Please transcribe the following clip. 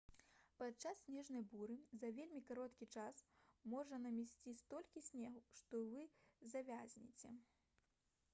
падчас снежнай буры за вельмі кароткі час можа намесці столькі снегу што вы завязнеце